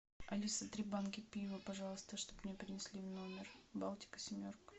алиса три банки пива пожалуйста чтобы мне принесли в номер балтика семерка